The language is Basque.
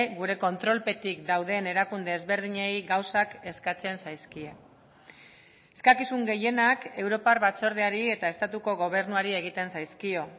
gure kontrolpetik dauden erakunde ezberdinei gauzak eskatzen zaizkie eskakizun gehienak europar batzordeari eta estatuko gobernuari egiten zaizkio